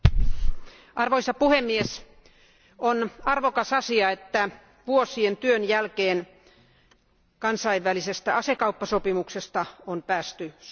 Arvoisa puhemies, on arvokas asia, että vuosien työn jälkeen kansainvälisestä asekauppasopimuksesta on päästy sopuun.